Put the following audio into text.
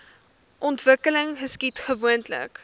ontwikkeling geskied gewoonlik